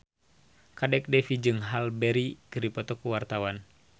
Kadek Devi jeung Halle Berry keur dipoto ku wartawan